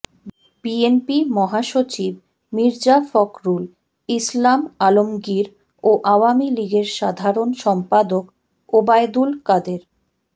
BNP মহাসচিব মির্জা ফখরুল ইসলাম আলমগীর ও আওয়ামী লীগের সাধারণ সম্পাদক ওবায়দুল কাদের